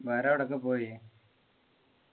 വേറെ എവിടൊക്കെ പോയി